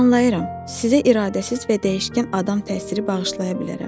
Anlayıram, sizə iradəsiz və dəyişkən adam təsiri bağışlaya bilərəm,